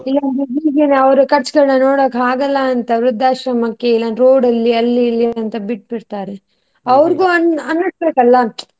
ಅವರ ಖರ್ಚುಗಳ್ನ ನೋಡೋಕೆ ಆಗಲ್ಲ ಅಂತ ವೃದ್ದಾಶ್ರಮಕ್ಕೆ road ಅಲ್ಲಿ ಅಲ್ಲಿ ಇಲ್ಲಿ ಅಂತ ಬಿಟ್ಬಿಡ್ತಾರೆ. ಅನಿಸಬೇಕಾಲ್ವಾ?